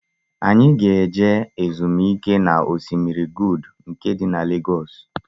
Anyi ga-eje ezumike na Osimiri Good nke di na Legoosu